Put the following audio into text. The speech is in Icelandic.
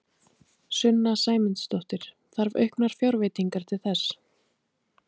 Sunna Sæmundsdóttir: Þarf auknar fjárveitingar til þess?